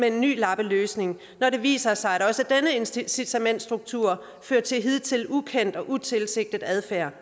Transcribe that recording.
en ny lappeløsning når det viser sig at også denne incitamentsstruktur fører til hidtil ukendt og utilsigtet adfærd